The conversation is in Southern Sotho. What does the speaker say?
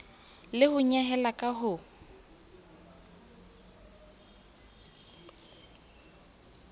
le ho nyehela ka ho